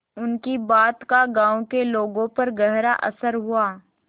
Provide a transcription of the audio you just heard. उनकी बात का गांव के लोगों पर गहरा असर हुआ